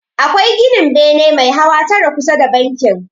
Akwai ginin bene mai hawa tara kusa da bankin.